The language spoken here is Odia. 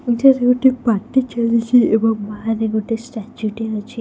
ଏଠାରେ ଗୋଟେ ପାର୍ଟି ଚାଲିଛି ଏବଂ ବାହାରେ ଗୋଟୋ ଷ୍ଟାଚ୍ୟୁ ଟେ ଅଛି।